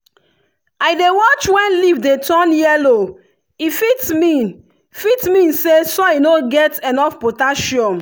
i dey watch when leaf dey turn yellow e fit mean fit mean say soil no get enough potassium.